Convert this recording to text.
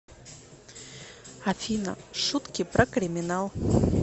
афина шутки про криминал